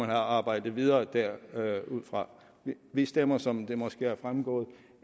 arbejdet videre derudfra vi stemmer som det måske er fremgået